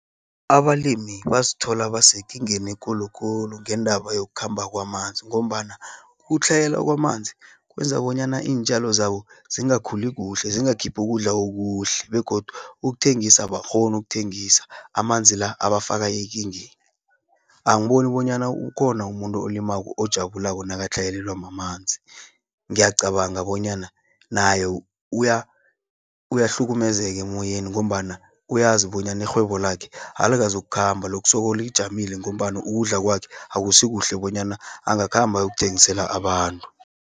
Abalimi bazithola basekingeni ekulukulu, ngendaba yokukhamba kwamanzi, ngombana ukutlhayela kwamanzi, kwenza bonyana iintjalo zabo zingakhuli kuhle zingakhiphi ukudla okuhle, begodu ukuthengisa, abakghoni ukuthengisa, amanzi la, abafaka ekingeni. Angiboni bonyana ukhona umuntu olimako ojabulako nakatlhayelelwa mamanzi. Ngiyacabanga bonyana naye uyahlukumezeka emoyeni, ngombana uyazi bonyana irhhwebo lakhe, alikazu ukukhamba losoloko lijamile. Ngombana ukudla kwakhe, akusikuhle bonyana angakhamba ayokuthengisela abantu.